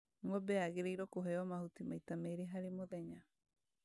Ng'ombe yagĩrĩirwo kũheo mahuti maita merĩ harĩ mũthenya